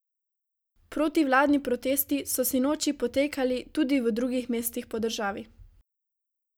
Protivladni protesti so sinoči potekali tudi v drugih mestih po državi.